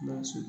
Gawusu